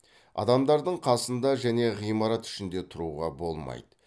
адамдардың қасында және ғимарат ішінде тұруға болмайды